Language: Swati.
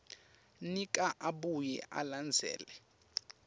nika abuye alandzele